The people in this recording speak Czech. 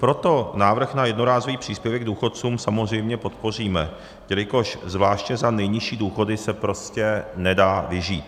Proto návrh na jednorázový příspěvek důchodcům samozřejmě podpoříme, jelikož zvláště za nejnižší důchody se prostě nedá vyžít.